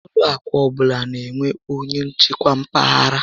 Ụlọ akụ ọbụla n'enwe onyé njikwa mpaghara